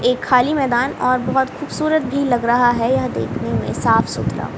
एक खाली मैदान और बहोत खूबसूरत भी लग रहा है यह देखने में साफ सुथरा--